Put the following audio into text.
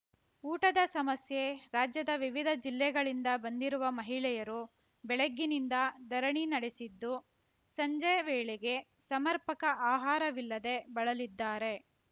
ಊಟದ ಸಮಸ್ಯೆ ರಾಜ್ಯದ ವಿವಿಧ ಜಿಲ್ಲೆಗಳಿಂದ ಬಂದಿರುವ ಮಹಿಳೆಯರು ಬೆಳಗ್ಗಿನಿಂದ ಧರಣಿ ನಡೆಸಿದ್ದು ಸಂಜೆ ವೇಳೆಗೆ ಸಮರ್ಪಕ ಆಹಾರವಿಲ್ಲದೆ ಬಳಲಿದ್ದಾರೆ